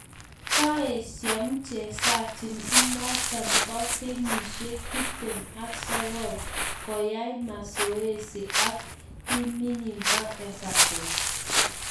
Koeshiaa mchezaji inoto bo kenyisiek tiptem ak sogol ko ai mazoezo ak timinyii bo evaton